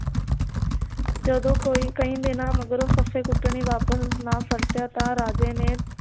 ਜਦੋ ਕੋਈ ਕਈ ਦਿਨਾਂ ਮਗਰੋਂ ਫੱਫੇ ਕੁੱਟਣੀ ਵਾਪਿਸ ਨਾ ਪਰਤਿਆ ਤਾਂ ਰਾਜੇ ਨੇ